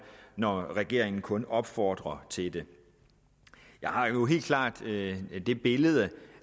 når regeringen kun opfordrer til det jeg har jo helt klart det billede